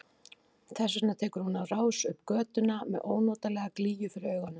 Þess vegna tekur hún á rás upp götuna með ónotalega glýju fyrir augunum.